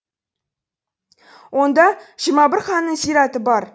онда жиырма бір ханның зираты бар